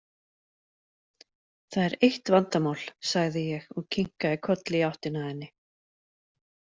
Það er eitt vandamál, sagði ég og kinkaði kolli í áttina að henni.